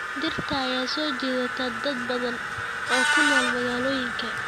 Dhirta ayaa soo jiidata dad badan oo ku nool magaalooyinka.